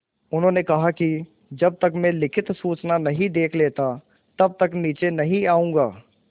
उन्होंने कहा कि जब तक मैं लिखित सूचना नहीं देख लेता तब तक नीचे नहीं आऊँगा